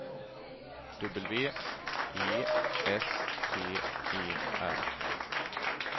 W E S T E R